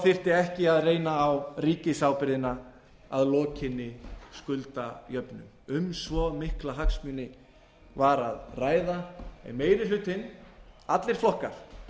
þyrfti ekki að reyna á ríkisábyrgðina að lokinni skuldajöfnun um svo mikla hagsmuni var að ræða en meiri hlutinn allir flokkar